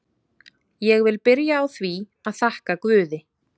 Ég vil byrja á því að þakka guði.